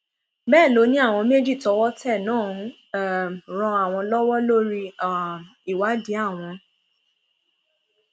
bẹẹ ló ní àwọn méjì tọwọ tẹ náà ń um ran àwọn lọwọ lórí um ìwádìí àwọn